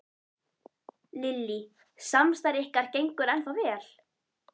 Lillý: Samstarf ykkar gengur ennþá vel?